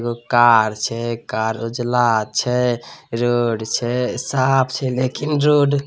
एगो कार छै कार उजला छै रोड छै साफ छै लेकिन रोड --